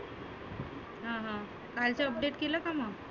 हं हं कालचे update केले का मग?